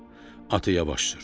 Atı yavaş sür.